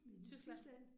Tyskland